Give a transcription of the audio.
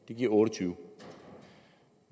det giver otte og tyve år